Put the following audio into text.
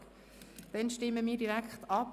Somit stimmen wir darüber ab.